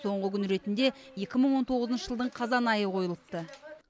соңғы күн ретінде екі мың он тоғызыншы жылдың қазан айы қойылыпты